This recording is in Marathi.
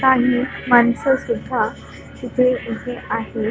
काही माणसं सुद्धा इथे उभी आहे.